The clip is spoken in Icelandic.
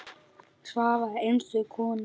Svava er einstök kona.